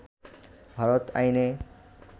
ভারত আইনে